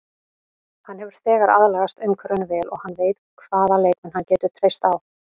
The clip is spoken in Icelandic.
Hann hefur þegar aðlagast umhverfinu vel og hann veit hvaða leikmenn hann getur treyst á.